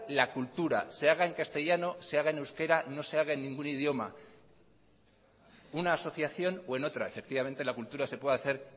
la cultura se haga en castellano se haga en euskera no se haga en ningún idioma una asociación o en otra efectivamente la cultura se puede hacer